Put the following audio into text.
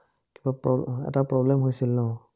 কিবা problem এটা problem হৈছিল ন?